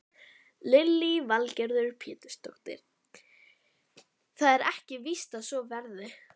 Lillý Valgerður Pétursdóttir: Það er ekki víst að svo verði?